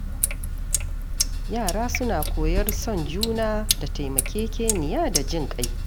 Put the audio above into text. Yara suna koyar son juna da taimakekeniya da jin ƙai.